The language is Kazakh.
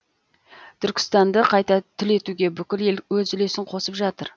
түркістанды қайта түлетуге бүкіл ел өз үлесін қосып жатыр